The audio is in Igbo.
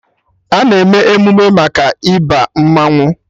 A na-eme emụme maka Ịba mmanwụ